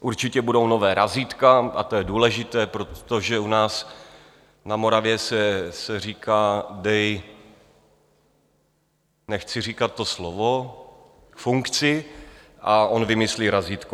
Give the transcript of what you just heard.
Určitě budou nová razítka - a to je důležité, protože u nás na Moravě se říká: Dej - nechci říkat to slovo - funkci a on vymyslí razítko.